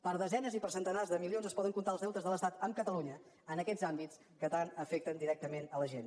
per desenes i per centenars de milions es poden comptar els deutes de l’estat amb catalunya en aquests àmbits que tant afecten directament la gent